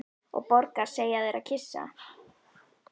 Og borgar, segja þeir og kyssa.